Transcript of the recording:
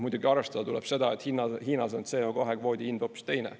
Muidugi arvestada tuleb seda, et Hiinas on CO2 kvoodi hind hoopis teine.